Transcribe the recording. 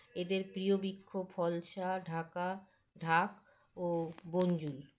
এদের প্রীয় বৃক্ষ ফলশা ঢাকা ঢাক ও বঞ্জুল